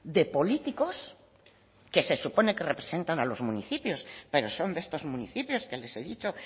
de políticos que se supone que representan a los municipios pero son de estos municipios que les he dicho